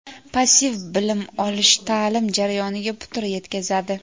Passiv bilim olish ta’lim jarayoniga putur yetkazadi.